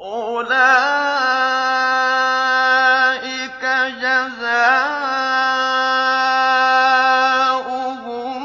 أُولَٰئِكَ جَزَاؤُهُم